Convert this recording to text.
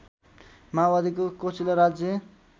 माओवादीको कोचिला राज्य